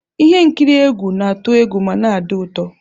Ihe nkiri egwu na-atụ egwu ma na-adị ụtọ.